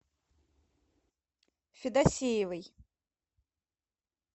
федосеевой